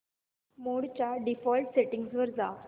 मोड च्या default settings वर जा